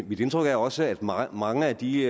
mit indtryk er også at mange mange af de